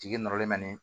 Jigi nɔrɔlen